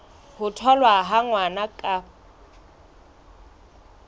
ho tholwa ha ngwana ka